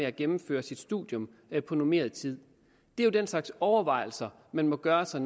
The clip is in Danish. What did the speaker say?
at gennemføre sit studium på normeret tid det er den slags overvejelser man må gøre sig